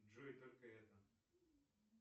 джой только это